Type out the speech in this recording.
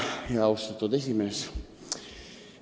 Hea austatud esimees!